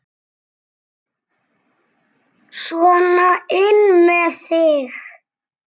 Sona inn með þig!